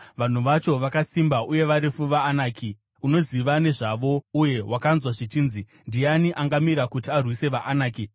Vanhu vacho vakasimba uye varefu vaAnaki! Unoziva nezvavo uye wakanzwa zvichinzi, “Ndiani angamira kuti arwise vaAnaki?”